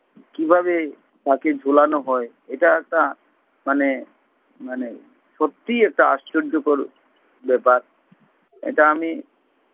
কিভাবে তাকে ঝোলানো হয় এটা একটা মানে মানে সত্যিই একটা আশ্চর্যকর ব্যাপার। এটা আমি